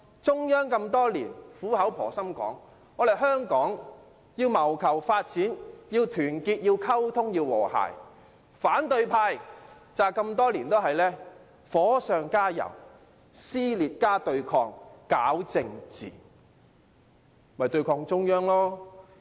中央多年來苦口婆心的說，香港要謀求發展就要團結、溝通、和諧，但反對派多年來都是火上加油，撕裂加對抗、搞政治，為的就是要對抗中央。